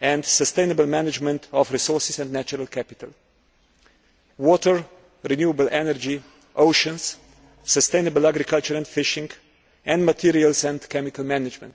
and sustainable management of resources and natural capital water, renewable energy, oceans, sustainable agriculture and fishing, and materials and chemical management.